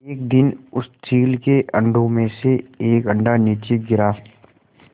एक दिन उस चील के अंडों में से एक अंडा नीचे गिरा